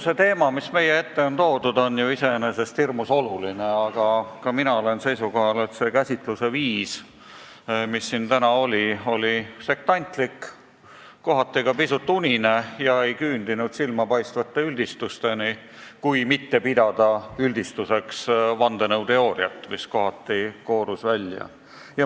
See teema, mis meie ette on toodud, on ju iseenesest hirmus oluline, aga ka mina olen seisukohal, et see käsitlusviis, mis siin täna oli, oli sektantlik, kohati ka pisut unine ega küündinud silmapaistvate üldistusteni, kui mitte pidada üldistuseks vandenõuteooriat, mis siit kohati välja koorus.